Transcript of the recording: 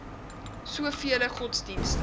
so vele godsdienste